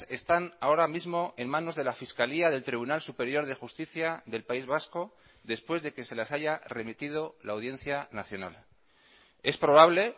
están ahora mismo en manos de la fiscalía del tribunal superior de justicia del país vasco después de que se las haya remitido la audiencia nacional es probable